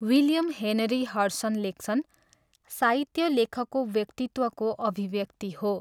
William Henry Hudson लेख्छन् "साहित्य लेखकको व्यक्तित्वको अभिव्यक्ति हो।"